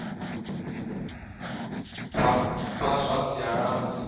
vha zwa sialala musi vha